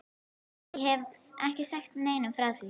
Ég hef ekki sagt neinum frá því.